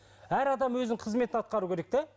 әр адам өзінің қызметін атқару керек те